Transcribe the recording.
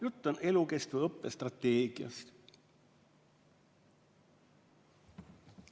Jutt on elukestva õppe strateegiast.